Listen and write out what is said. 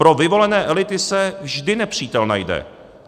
Pro vyvolené elity se vždy nepřítel najde.